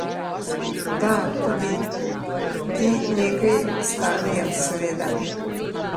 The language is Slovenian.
Da, tudi ti nekaj stanejo, seveda.